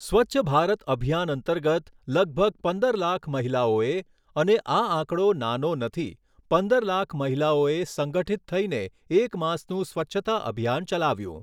સ્વચ્છભારત અભિયાન અંતર્ગત લગભગ પંદર લાખ મહિલાઓએ અને આ આંકડો નાનો નથી, પંદર લાખ મહિલાઓએ સંગઠિત થઈને એક માસનું સ્વચ્છતા અભિયાન ચલાવ્યું.